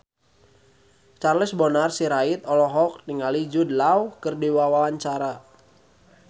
Charles Bonar Sirait olohok ningali Jude Law keur diwawancara